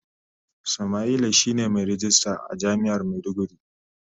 Samaila shine mai ragista a jami'ar maiduguri.